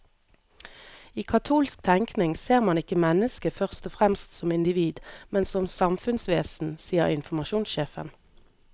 I katolsk tenkning ser man ikke mennesket først og fremst som individ, men som samfunnsvesen, sier informasjonssjefen.